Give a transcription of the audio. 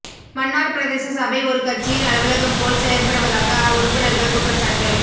மன்னார் பிரதேச சபை ஒரு கட்சியின் அலுவலகம் போல் செயற்படுவதாக உறுப்பினர்கள் குற்றச்சாட்டு